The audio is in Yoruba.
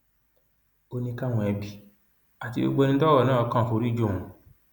ó ní káwọn ẹbí àti gbogbo ẹni tọrọ náà kàn foríjì òun